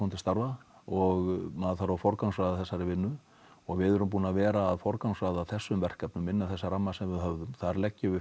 til starfa og maður þarf að forgangsraða þessari vinnu og við erum búin að vera að forgangsraða þessum verkefnum innan þessa ramma sem við höfðum þar leggjum við